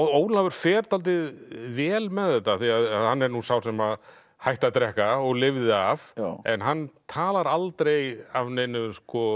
Ólafur fer dálítið vel með þetta hann er nú sá sem hætti að drekka og lifði af en hann talar aldrei af neinu